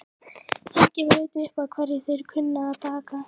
Enginn veit upp á hverju þeir kunna að taka!